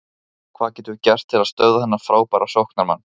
Hvað getum við gert til að stöðva þennan frábæra sóknarmann?